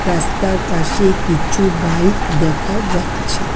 রাস্তার পাশে কিছু বাইক দেখা যাচ্ছে।